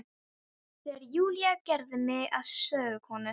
Þegar Júlía gerði mig að sögukonu.